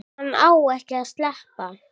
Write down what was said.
Hann á ekki að sleppa.